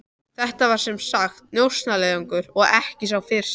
Þetta var sem sagt njósnaleiðangur, og ekki sá fyrsti.